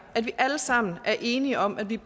at vi alle sammen er enige om at vi